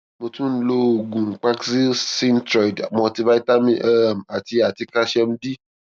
mo tún ń lo oògùn paxil synthroid multi vitamin um àti àti calcium d